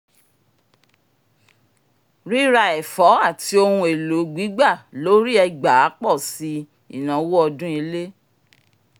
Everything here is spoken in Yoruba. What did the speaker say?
ríra ẹ̀fọ́ àti ohun èlò gbígbà lórí ẹgbàá pọ̀ sí ináwó ọdún ilé